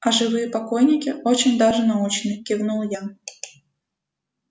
а живые покойники очень даже научны кивнул я